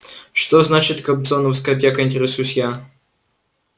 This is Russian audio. что значит кобзоновская аптека интересуюсь я